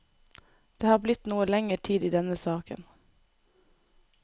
Det har blitt noe lenger tid i denne saken.